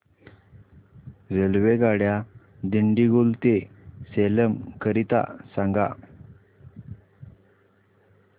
रेल्वेगाड्या दिंडीगुल ते सेलम करीता सांगा